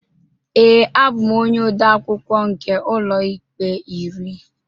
Ee, abụ m onye odeakwụkwọ nke Ụlọikpe iri